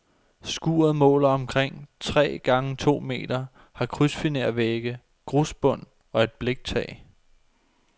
Skuret måler omkring tre gange to meter, har krydsfinervægge, grusbund og et bliktag.